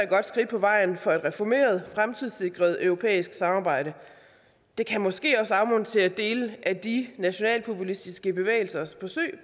godt skridt på vejen for et reformeret fremtidssikret europæisk samarbejde det kan måske også afmontere dele af de nationalpopulistiske bevægelsers forsøg